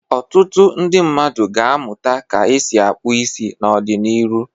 Otụtụ ndị mmadụ ga-amụta ka esi akpụ isi n'ọdị n'iru.